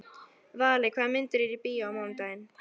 Valli, hvaða myndir eru í bíó á mánudaginn?